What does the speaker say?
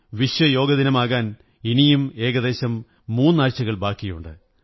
വിശ്വയോഗദിനമാകാൻ ഇനിയും ഏകദേശം മൂന്നാഴ്ചകൾ ബാക്കിയുണ്ട്